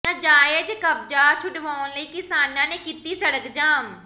ਨਾਜਾਇਜ਼ ਕਬਜ਼ਾ ਛੁਡਵਾਉਣ ਲਈ ਕਿਸਾਨਾਂ ਨੇ ਕੀਤੀ ਸੜਕ ਜਾਮ